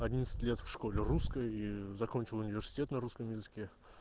одиннадцать лет в школе русской закончил университет на русском языке